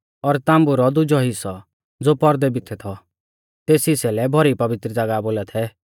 और ताम्बु रौ दुजौ हिस्सौ ज़ो पौरदै भितै थौ तेस हिस्सै लै भौरी पवित्र ज़ागाह बोला थै